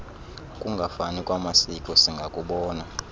kungafani kwamasiko singakubona